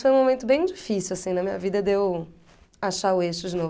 Foi um momento bem difícil, assim, na minha vida, de eu achar o eixo de novo.